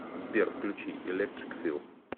сбер включи электрик фил